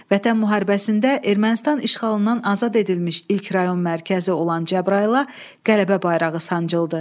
Vətən müharibəsində Ermənistan işğalından azad edilmiş ilk rayon mərkəzi olan Cəbrayıla qələbə bayrağı sancıldı.